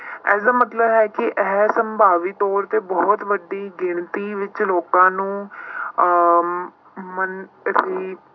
ਇਸਦਾ ਮਤਲਬ ਹੈ ਕਿ ਇਹ ਸੰਭਾਵੀ ਤੌਰ ਤੇ ਬਹੁਤ ਵੱਡੀ ਗਿਣਤੀ ਵਿੱਚ ਰੋਗਾਂ ਨੂੰ ਅਹ